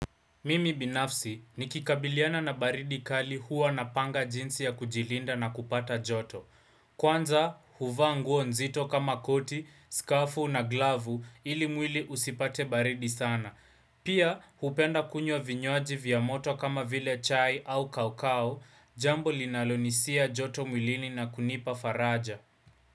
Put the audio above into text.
Mimi binafsi nikikabiliana na baridi kali huwa napanga jinsi ya kujilinda na kupata joto. Kwanza huvaa nguo nzito kama koti, skafu na glavu ili mwili usipate baridi sana. Pia hupenda kunywa vinywaji vya moto kama vile chai au kaukau jambo linalonisia joto mwilini na kunipa faraja.